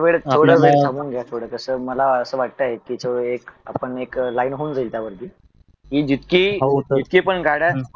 थोड वेळ थांबून घ्या थोड कस मला अस वाटत कि आपण एक लाईनहोवून जाईल त्या वरती जी जितकी पण गाड्या